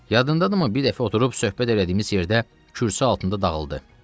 Yadındadırmı bir dəfə oturub söhbət elədiyimiz yerdə kürsü altında dağıldı.